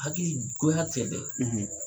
Hakili goya tɛ dɛ